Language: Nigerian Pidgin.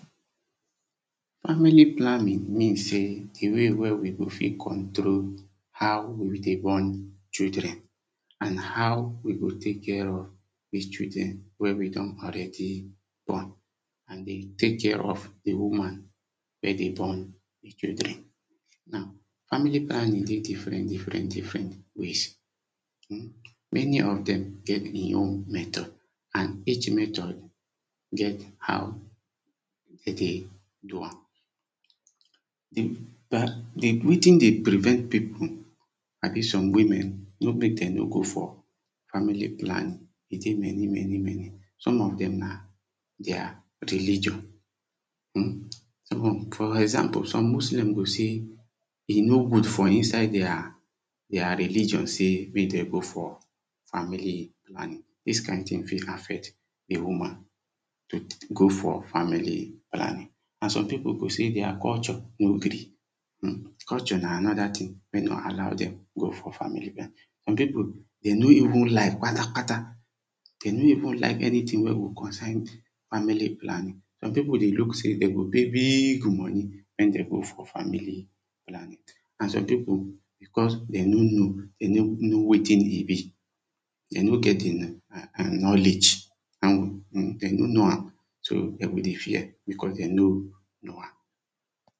Family planning mean sey di way wen we go fit control how we dey born children. And how we go take care of the children wen we don already born, and dey take care of di woman wen dey born di children now family planning dey diffrent different different ways. um Many of dem get e own method and each method get how dem dey do am. Wetin dey prevent people abi some women wey make dem no go for family planning, e dey many many many some of dem na their religion um for example some muslim go sey, e no good for inside their their religion sey make dem go for family planning. Dis kind thing fit affect di woman to go for family planning and some people go sey their culture no gree, um culture na another thing wen nor allow dem go for family planning, some people dem no even like kpata kpata dem no even like any thing wey go concern family planning. Some people go look sey dem go pay big money wen dem go for family planning. And some people because dem no know, dem no know wetin e be dem no get di um knowledge and dem no know am so dem go dey fear because dem no know am